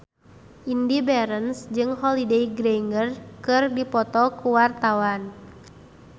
Indy Barens jeung Holliday Grainger keur dipoto ku wartawan